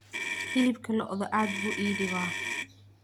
hilibka lo'da aad buu ii dhibaa